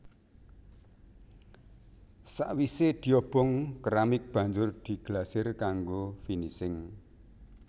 Sakwisé diobong keramik banjur diglasir kanggo finising